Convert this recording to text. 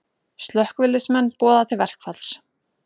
Slökkviliðsmenn boða til verkfalls